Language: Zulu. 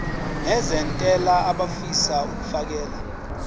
nezentela abafisa uukfakela